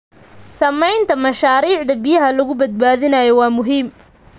Samaynta mashaariicda biyaha lagu badbaadinayo waa muhiim.